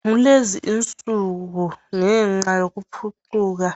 Kulezi insuku ngenxa yokukhuphuka